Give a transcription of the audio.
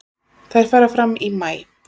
Þær fara fram í maí.